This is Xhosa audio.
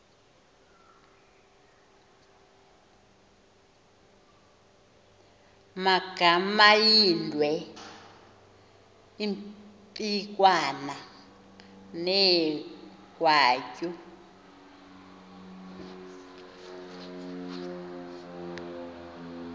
magamaindwe impikwana negwatyu